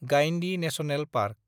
Guindy national park